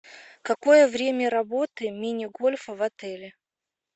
какое время работы мини гольфа в отеле